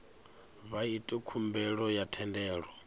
vha ite khumbelo ya thendelo